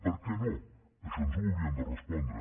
per què no això ens ho haurien de respondre